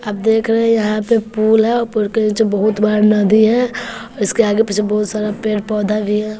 आप देख रहे हैं यहां पे पुल है और पुल के नीचे बहुत बड़ा नदी है और इसके आगे पीछे बहुत सारा पेड़ पौधा भी है।